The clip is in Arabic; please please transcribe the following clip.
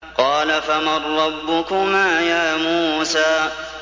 قَالَ فَمَن رَّبُّكُمَا يَا مُوسَىٰ